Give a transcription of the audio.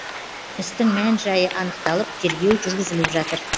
істің мән жайы анықталып тергеу жүргізіліп жатыр